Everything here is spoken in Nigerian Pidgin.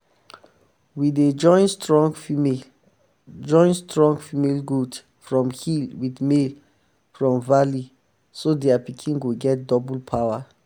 we dey join strong female join strong female goat from hill with male from valley so their pikin go get double power.